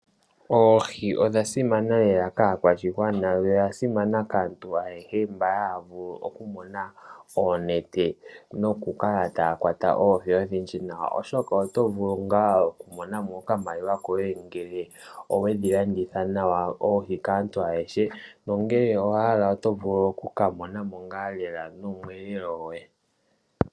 Oohi odha simana lela kaakwashigwana noshowo kaantu ayehe mboka haya vulu okumona oonete noku kala taya kwata oohi odhindji nawa to kala tolanditha kaantu ayehe noto vulu wo okumona mo omweelelo gwoye.